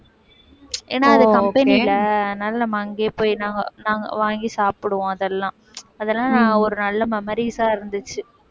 ஏன்னா அது company ல அதனால நம்ம அங்கேயே போய் நாங்க நாங்க வாங்கி சாப்பிடுவோம் அதெல்லாம் அதெல்லாம் ஒரு நல்ல memories ஆ இருந்துச்சு